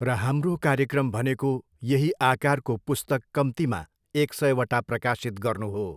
र हाम्रो कार्यक्रम भनेको यही आकारको पुस्तक कम्तीमा एक सयवटा प्रकाशित गर्नु हो।